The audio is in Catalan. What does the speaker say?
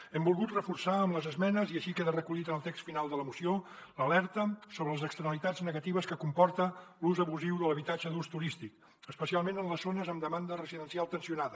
hem volgut reforçar amb les esmenes i així queda recollit en el text final de la moció l’alerta sobre les externalitats negatives que comporta l’ús abusiu de l’habitatge d’ús turístic especialment en les zones amb demanda residencial tensionada